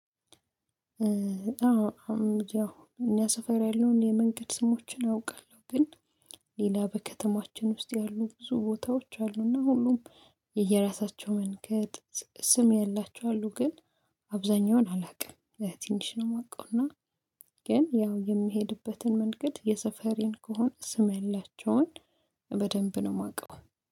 አዎ እኛ ሰፈር ያለውን የመንገድ ስሞችን አውቃለሁ። ግን ሌላ በከተማችን ውስጥ ያሉ ብዙ ቦታዎች አሉና ሁሉም የየራሳቸው መንገድ ስም ያላቸው አሉ። ግን አብዛኛውን አላውቅም። ትንሽ ነው የማውቀው እና ግን ያው የምሄድበትን መንገድ የሰፈሬን ከሆነ ስም ያላቸውን በደንብ ነው የማውቀው።